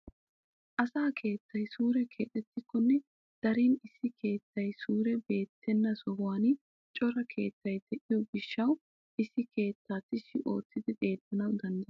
Asa keettay suure keexettikonne darin issi keettay suure beettena sohuwaan cora keettay de'iyoo gishshawu issi keettaa tishshi oottidi xeellanawu dandayettena.